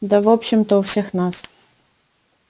да в общем-то у всех нас